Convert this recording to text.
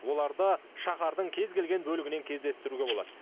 оларды шаһардың кез келген бөлігінен кездестіруге болады